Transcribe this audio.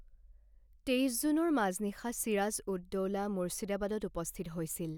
তেইছ জুনৰ মাজনিশা ছিৰাজ উদ দৌলা মুৰ্ছিদাবাদত উপস্থিত হৈছিল।